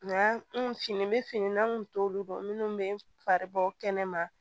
Nka n bɛ finiw kun t'olu dɔn minnu bɛ faribɔ kɛnɛ ma